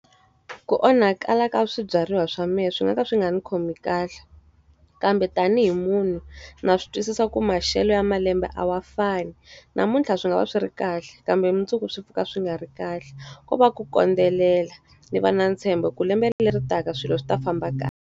Ku onhakala ka swibyariwa swa mehe swi nga ka swi nga ndzi khomi kahle. Kambe tanihi munhu na swi twisisa ku maxelo ya malembe a wa fani. Namuntlha swi nga va swi ri kahle, kambe mundzuku swi pfuka swi nga ri kahle. Ko va ku kondzelela, ni va na ni ntshembo ku lembe leri taka swilo swi ta famba kahle.